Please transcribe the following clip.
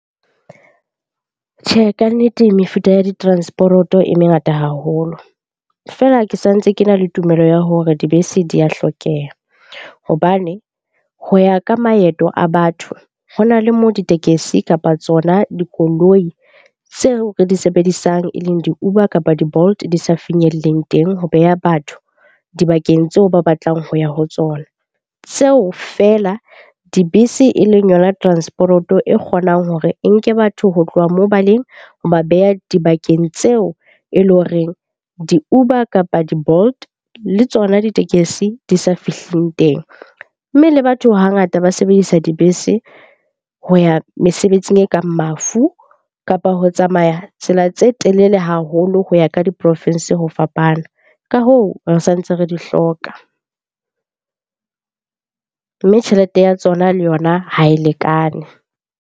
Tjhe, kannete mefuta ya ditransporoto e mengata haholo. Feela ke sa ntse ke na le tumelo ya hore dibese di ya hlokeha hobane ho ya ka maeto a batho, ho na le mo ditekesi kapa tsona dikoloi tseo re di sebedisang e leng di-Uber kapa di-Bolt di sa finyelleng teng ho beha batho dibakeng tseo ba batlang ho ya ho tsona. Tseo feela dibese e leng yona transporoto e kgonang hore e nke batho ho tloha moo ba leng, ho ba beha dibakeng tseo e leng horeng di-Uber, kapa di-Bolt le tsona ditekesi di sa fihling teng. Mme le batho hangata ba sebedisa dibese ho ya mesebetsing e kang mafu, kapa ho tsamaya tsela tse telele haholo ho ya ka diporofensi ho fapana. Ka hoo, re sa ntse re di hloka, mme tjhelete ya tsona le yona ha e lekane.